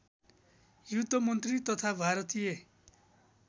युद्धमन्त्री तथा भारतीय